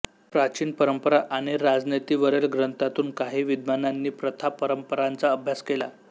प्राचीन परंपरा आणि आणि राजनीतीवरील ग्रंथातून काही विद्ववानांनी प्रथापरंपरांचा अभ्यास केला